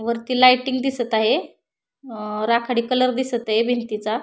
वरती लाइटीनग दिसत आहे राखाडी कलर दिसत आहे भिंतीचा.